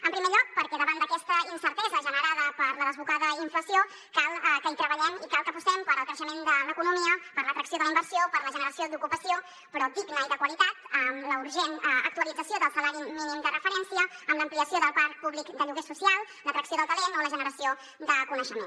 en primer lloc perquè davant d’aquesta incertesa generada per la desbocada inflació cal que hi treballem i cal que apostem pel creixement de l’economia per l’atracció de la inversió per la generació d’ocupació però digna i de qualitat amb la urgent actualització del salari mínim de referència amb l’ampliació del parc públic de lloguer social l’atracció del talent o la generació de coneixement